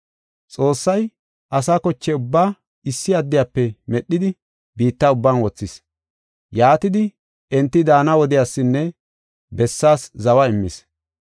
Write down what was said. Xoossay asa koche ubbaa issi addiyafe medhidi biitta ubban wothis. Yaatidi enti daana wodiyasinne bessaas zawa immis.